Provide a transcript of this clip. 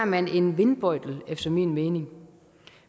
man en vindbøjtel efter min mening